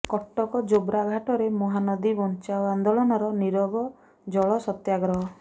କଟକ ଯୋବ୍ରା ଘାଟରେ ମହାନଦୀ ବଞ୍ଚାଅ ଆନ୍ଦୋଳନର ନିରବ ଜଳ ସତ୍ୟାଗ୍ରହ